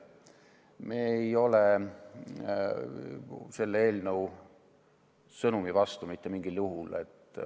Me ei ole selle eelnõu sõnumi vastu, mitte mingil juhul.